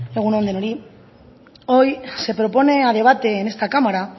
egun on denoi hoy se propone a debate en esta cámara